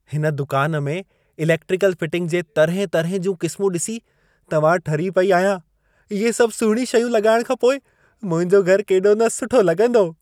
हिन दुकान में इलेक्ट्रिकल फिटिंग जे तर्हें-तर्हें जूं क़िस्मूं ॾिसी त मां ठरी पेई आहियां। इहे सभु सुहिणियूं शयूं लॻाइण खां पोइ मुंहिंजो घर केॾो न सुठो लॻंदो।